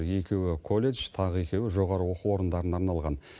екеуі колледж тағы екеуі жоғары оқу орындарына арналған